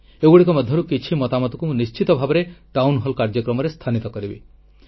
ଏଗୁଡ଼ିକ ମଧ୍ୟରୁ କିଛି ମତାମତକୁ ମୁଁ ନିଶ୍ଚିତ ଭାବରେ ଟାଉନହଲ କାର୍ଯ୍ୟକ୍ରମରେ ସ୍ଥାନୀତ କରିବି